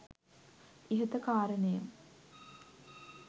ඉහත කාරනය